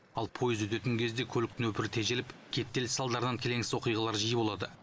ал поезд өтетін кезде көлік нөпірі тежеліп кептеліс салдарынан келеңсіз оқиғалар жиі болады